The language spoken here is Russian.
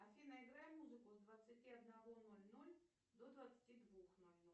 афина играй музыку с двадцати одного ноль ноль до двадцати двух ноль ноль